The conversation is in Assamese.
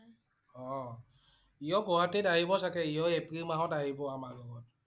অ' সিও গুৱাহাটীত আহিব চাগে। সিও এপ্ৰিল মাহত আহিব আমাৰ লগত